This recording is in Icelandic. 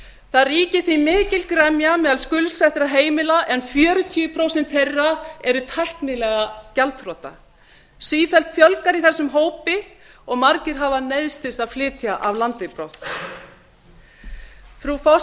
það ríkir því mikil gremja meðal skuldsettra heimila en fjörutíu prósent þeirra eru tæknilega gjaldþrota sífellt fjölgar í þessum hópi og margir hafa neyðst til að flytja af landi brott frú